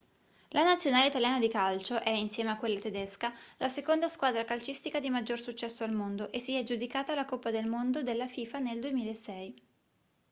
la nazionale italiana di calcio è insieme a quella tedesca la seconda squadra calcistica di maggior successo al mondo e si è aggiudicata la coppa del mondo della fifa nel 2006